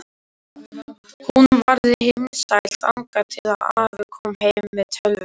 Hún varð himinsæl þangað til afi kom heim með tölvu.